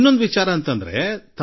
ಇನ್ನೂ ಒಂದು ಆಕರ್ಷಕ ಸಂಗತಿ ನಡೆಯಿತು